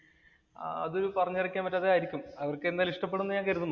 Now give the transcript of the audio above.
അത് പറഞ്ഞറിയിക്കാൻ കഴിയാത്തത് ആയിരിക്കും. അവർക്ക് എന്തായാലും ഇഷ്ടപ്പെടും എന്ന് ഞാൻ കരുതുന്നു.